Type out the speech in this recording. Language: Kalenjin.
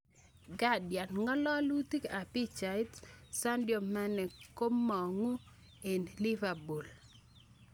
(Guardian) Ngalalutik ab pichait, Sadio Mane komong eng Liverpool?